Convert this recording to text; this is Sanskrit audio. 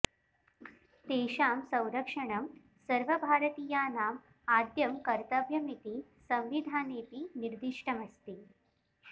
तेषां संरक्षणं सर्वभारतीयानाम् आद्यं कर्तव्यमिति संविधानेऽपि निर्दिष्टम् अस्ति